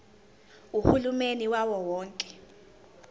uhulumeni wawo wonke